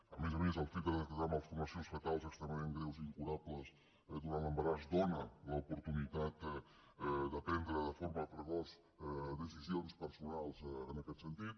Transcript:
a més a més el fet de detectar malformacions fetals extremadament greus i incurables durant l’embaràs dóna l’oportunitat de prendre de forma precoç decisions personals en aquest sentit